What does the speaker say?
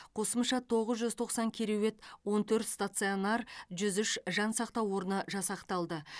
қосымша тоғыз жүз тоқсан кереует он төрт станционар жүз үш жансақтау орны жасақталды